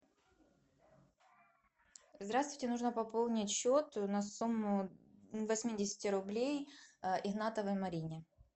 здравствуйте нужно пополнить счет на сумму восьмидесяти рублей игнатовой марине